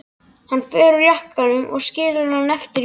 Hann fer úr jakkanum og skilur hann eftir í bátnum.